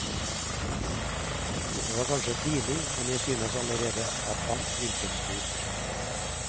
Det var kanskje tidlig, men jeg synes allerede at alt virket stort.